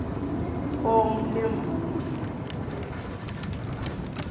fomu lemvume kumbe